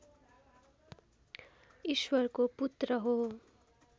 ईश्वरको पुत्र हो